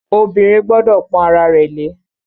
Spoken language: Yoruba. Obìnrin gbọ́dọ̀ pọ́n ara rẹ̀ lé.